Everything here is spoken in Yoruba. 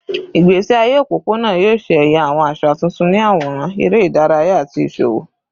Igbesi aye opopona yoo ṣe ẹya awọn aṣa tuntun ni aworan, ere idaraya, ati iṣowo